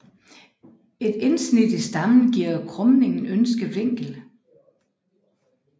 Et indsnit i stammen giver krumningen ønsket vinkel